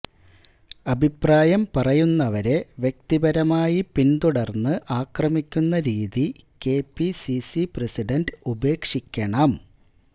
അഭിപ്രായം പറയുന്നവരെ വ്യക്തിപരമായി പിന്തുടർന്ന് ആക്രമിക്കുന്ന രീതി കെപിസിസി പ്രസിഡന്റ് ഉപേക്ഷിക്കണം